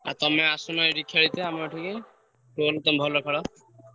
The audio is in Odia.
ଆଉ ତମେ ଆସୁନ ଏଇଠି ଖେଳିତେ ଆମ ଏଠିକି, Football ତମେ ଭଲ ଖେଳ।